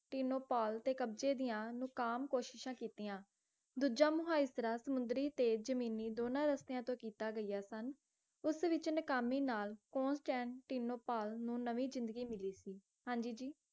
ਟਿਨੋਪਾਲ ਤੇ ਕਬਜ਼ੇ ਦੀਆਂ ਨਕਾਮ ਕੋਸ਼ਿਸ਼ਾਂ ਕੀਤੀਆਂ ਦੂਜਾ ਮੁਹਾਈਜ਼ਰਾ ਸਮੁੰਦਰੀ ਤੇ ਜਮੀਨੀ ਦੋਂਨਾਂ ਰਸਤਿਆਂ ਤੋਂ ਕੀਤੀਆਂ ਗਈਆਂ ਸਨ ਉਸ ਵਿੱਚ ਨਾਕਾਮੀ ਨਾਲ ਕੋਂਸਟੈਂਟੀਨੋਪੋਲ ਨੂੰ ਨਵੀਂ ਜਿੰਦਗੀ ਮਿਲੀ ਸੀ ਹਾਂ ਜੀ ਜੀ